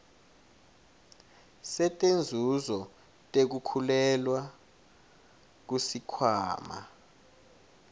setinzuzo tekukhulelwa kusikhwama